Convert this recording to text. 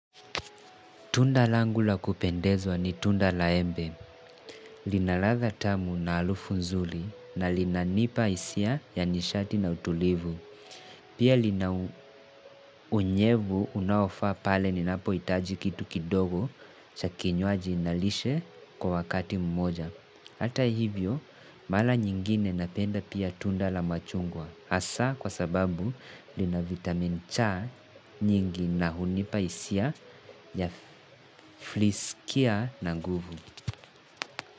Tunda langu la kupendezwa ni tunda la embe, linaladha tamu na harufu nzuri na lina nipa hisia ya nishati na utulivu. Pia lina unyevu unaofaa pale ninapohitaji kitu kidogo cha kinywaji na lishe kwa wakati mmoja. Hata hivyo, mara nyingine napenda pia tunda la machungwa. Hasa kwa sababu lina vitamin cha nyingi na hunipa hisia ya fliskia na guvu.